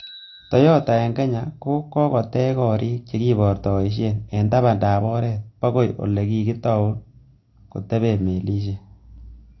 Toyota en Kenya, ko kokotech gorik che kibortoishien en tabandab oret bokoi ele kokitou koteben melisiek.